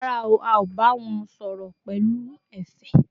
Rárá, a ò bá wọn sọ̀rọ̀ pẹ̀lú ẹ̀fẹ̀